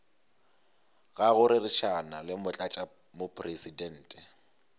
ga go rerišana le motlatšamopresidente